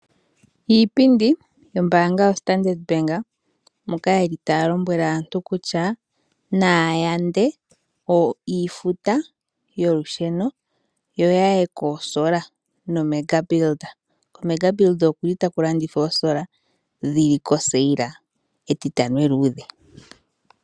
Iipindi yombaanga yaStandard, moka taya lombwele aantu opo ya yande iifuta yolusheno yo ya tameke okulongitha oosola noMegatech. KoPupkewitz Megatech oku li taku landithwa oosola dhi li kofanditha, ofanditha oya nuninwa esiku lyEtitano eluudhe.